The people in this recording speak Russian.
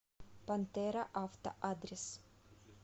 пантера авто адрес